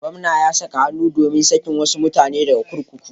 Gwamna ya saka hannu domin sakin wasu mutane daga kurkuku.